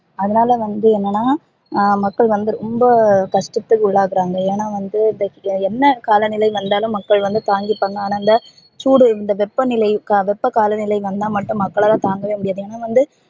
அதுனால வந்து என்னனா ஹம் மக்கள் வந்து ரொம்ப கஷ்டத்தில் உள்ளாகுறாங்க ஏனா வந்து என்ன காலநிலை வந்தாலும் மக்கள் வந்து தாங்கிபாங்க ஆன இந்த சூடு இந்த வெப்பநிலை வெப்ப காலநிலை வந்தா மட்டும் மக்களால தாங்கவே முடியாது